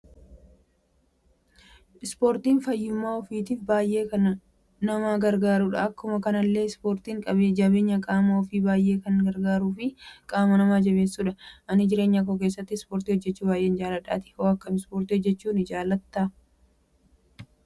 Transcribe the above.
Spoortiin fayyumaa ofiitiif baay'ee kana nama gargaaruudha. Akkuma kanallee spoortiin jabeenya qaama ofiif baay'ee kan nama gargaaruu fi qaama nama jabeessudha. Ani jireenyakoo keessatti spoortii hojjechu baay'een jaalladha. Atoo akkami spoortii hojjechu hin jaallatta?